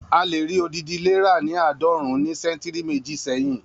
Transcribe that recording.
A lè rí odidi ilé ra ni aadọrun ní ṣẹ́ntìrì méjì sẹ́hìn